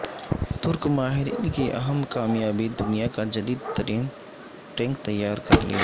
ترک ماہرین کی اہم کامیابی دنیا کا جدید ترین ٹینک تیار کرلیا